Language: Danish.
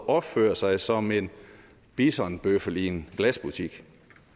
opfører sig som en bisonbøffel i en glasbutik